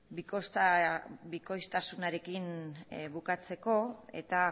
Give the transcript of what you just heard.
bikoiztasunarekin bukatzeko eta